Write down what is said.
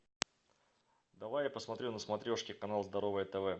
давай я посмотрю на смотрешке канал здоровое тв